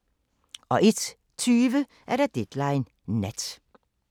01:20: Deadline Nat